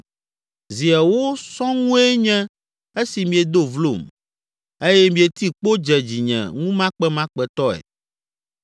Zi ewo sɔŋue nye esi miedo vlom eye mieti kpo dze dzinye ŋumakpemakpetɔe.